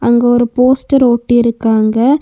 அங்க ஒரு போஸ்டர் ஒட்டிருக்காங்க.